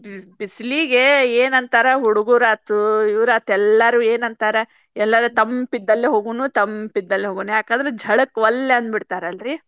ಬಿಸಲಿಗೆ ಏನ್ ಅಂತಾರ ಹುಡಗುರ್ ಆತು ಇವ್ರಾತ್ ಎಲ್ಲಾರೂ ಏನ್ ಅಂತಾರ ಎಲ್ಲರೆ ತಂಪ ಇದ್ದಲ್ಲೇ ಹೋಗುಣು ತಂಪ ಇದ್ದಲ್ಲೇ ಹೋಗೂಣು ಯಾಕಂದ್ರ ಝಳಕ್ಕ್ ವಲ್ಲೆ ಅಂದ್ ಬಿಡ್ತಾರಲ್ರಿ.